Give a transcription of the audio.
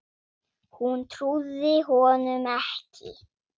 Hún trúði honum ekki.